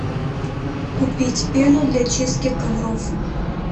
купить пену для чистки ковров